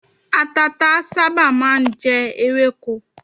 Àtàtà sábà máà ń jẹ ewéko.